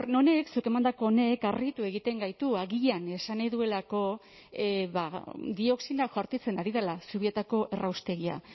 honek zuk emandako honek harritu egiten gaitu agian esan nahi duelako ba dioxinak jaurtitzen ari dela zubietako erraustegia